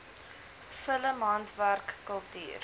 film handwerk kultuur